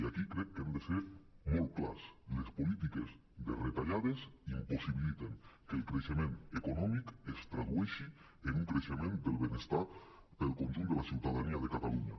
i aquí crec que hem de ser molt clars les polítiques de retallades impossibiliten que el creixement econòmic es tradueixi en un creixement del benestar per al con·junt de la ciutadania de catalunya